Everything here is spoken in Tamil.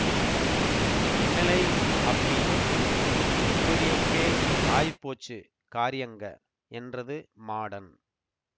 என்னலேய் அப்பி இப்பிடியொக்கெ ஆயிப்போச்சு காரியங்க என்றது மாடன்